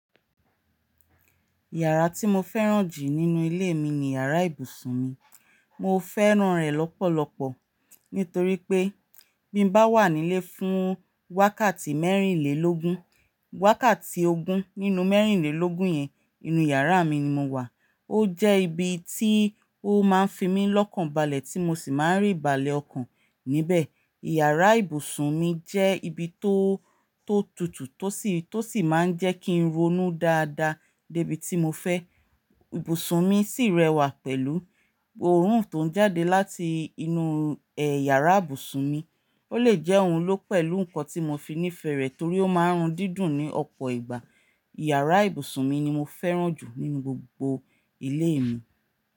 Yàrá tí mo fẹ́ràn jù nínú ilé mi ni yàrá ibùsùn mi. Mo fẹ́ràn rẹ̀ lọ́pọ̀lọpọ̀ nítorí pé bí mo bá wà nílé fún wákàtí mẹ́rìnlélógún, wákàtí ogún nínú mẹ́rìnlélógún yẹn, inú yàrá mi ni mo wà. Ó jẹ́ ibi tí ó máa ń fi mí lọ́kàn balẹ̀ tí mo sì máa ń rí balẹ̀ ọkàn níbẹ̀. Yàrá ibùsùn mi jẹ́ ibi tó, tó tutù tó sì, tó sì máa ń jẹ́ kí n ronú dáadáa débi tí mo fẹ́. Ibùsùn mi si rẹwà pẹ̀lú, óorun to njade láti inú iyàrá ibùsùn mi ó lè jẹ́ ohun ló pẹ̀lú nǹkan tí mo fi ní ìfẹ́ rẹ̀ torí ó máa ń rún dídùn ní ọ̀pọ̀ ìgbà. Yàrá ibùsùn mi ni mo fẹ́ràn jù nínú gbogbo ilé mi.